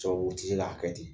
Cɛw o tɛ se k'a kɛ ten